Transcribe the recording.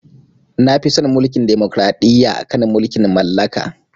Nafi son Mulkin demokraɗiyya akan mulkin mallaka.